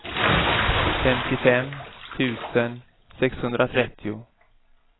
femtiofem tusen sexhundratrettio